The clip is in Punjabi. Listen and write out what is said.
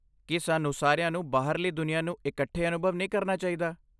ਕੀ ਸਾਨੂੰ ਸਾਰਿਆਂ ਨੂੰ ਬਾਹਰਲੀ ਦੁਨੀਆਂ ਨੂੰ ਇਕੱਠੇ ਅਨੁਭਵ ਨਹੀਂ ਕਰਨਾ ਚਾਹੀਦਾ?